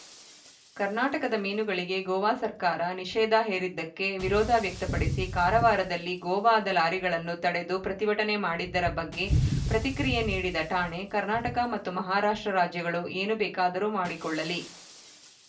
ಕರ್ನಾಟಕದ ಮೀನುಗಳಿಗೆ ಗೋವಾ ಸರ್ಕಾರ ನಿಷೇಧ ಹೇರಿದ್ದಕ್ಕೆ ವಿರೋಧ ವ್ಯಕ್ತಪಡಿಸಿ ಕಾರವಾರದಲ್ಲಿ ಗೋವಾದ ಲಾರಿಗಳನ್ನು ತಡೆದು ಪ್ರತಿಭಟನೆ ಮಾಡಿದ್ದರ ಬಗ್ಗೆ ಪ್ರತಿಕ್ರಿಯೆ ನೀಡಿದ ರಾಣೆ ಕರ್ನಾಟಕ ಮತ್ತು ಮಹಾರಾಷ್ಟ್ರ ರಾಜ್ಯಗಳು ಏನು ಬೇಕಾದರೂ ಮಾಡಿಕೊಳ್ಳಲಿ